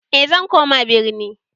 E zan koma birni